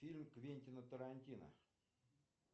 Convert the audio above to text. фильм квентина тарантино